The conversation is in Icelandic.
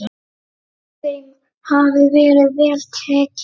Þeim hafi verið vel tekið.